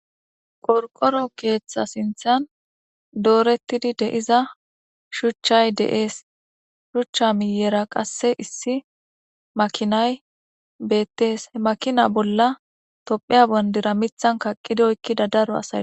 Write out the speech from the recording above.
Qorqoro keeththa sinthan doorettidi de7iza shuchchay deees shuchcha miyera qasse issi makinay beettees he makina bolla tophiya bandira mithan kaqqid oykkida daro asayo.